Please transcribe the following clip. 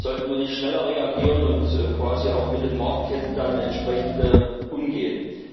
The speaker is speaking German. Sollten wir nicht schneller reagieren und quasi auch mit den Marktketten dann entsprechend umgehen?